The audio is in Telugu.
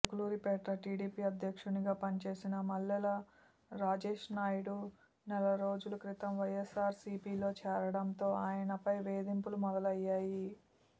చిలకలూరిపేట టీడీపీ అధ్యక్షునిగా పనిచేసిన మల్లెల రాజేష్నాయుడు నెల రోజుల క్రితం వైఎస్సార్ సీపీలో చేరటంతో ఆయనపై వేధింపులు మొదలయ్యాయి